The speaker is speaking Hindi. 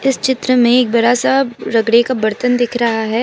इस चित्र में एक बड़ा सा का बर्तन दिख रहा है।